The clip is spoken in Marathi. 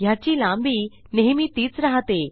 ह्याची लांबी नेहमी तीच राहते